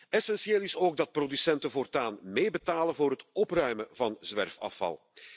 Essentieel is ook dat producenten voortaan meebetalen voor het opruimen van zwerfafval.